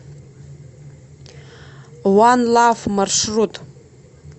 ван лав маршрут